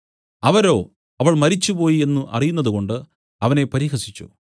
അവരോ അവൾ മരിച്ചുപോയി എന്നു അറിയുന്നതുകൊണ്ട് അവനെ പരിഹസിച്ചു